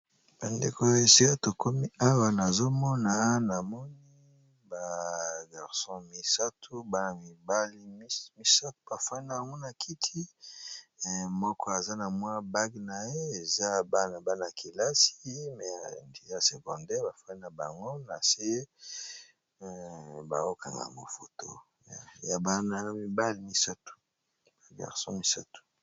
bandeko ya esia tokomi awa nazomona na moni b3 bafani n anguna kiti moko aza na mwa bag na ye eza bana-bana-kelasi merdiya secondar bafani na bango na se baokanga mofotoya bana mibali ba garso misato